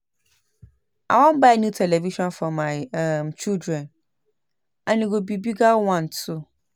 I wan buy new television for my um children and e go be a bigger one too